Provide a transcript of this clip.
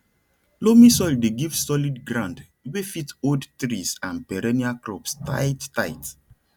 loamy soil dey give solid ground wey fit hold trees and perennial crops tight tight